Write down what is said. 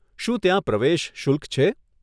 શું ત્યાં પ્રવેશ શુલ્ક છે?